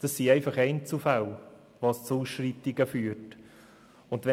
Es kommt nur in Einzelfällen zu Ausschreitungen.